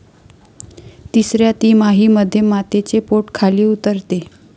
तिसऱ्या तिमाहीमध्ये मातेचे पोट खाली उतरते.